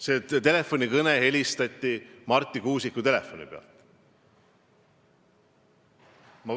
See kõne võeti Marti Kuusiku telefoni pealt.